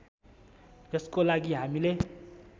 यसको लागि हामीले